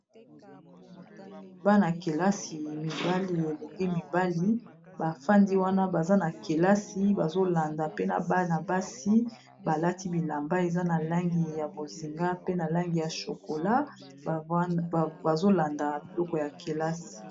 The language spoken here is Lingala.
Bana-kelasi mibali elenge mibali bafandi wana baza na kelasi bazolanda pe na bana basi balati bilamba eza na langi ya bozinga pe na langi ya chokola bazolanda biloko ya kelasi.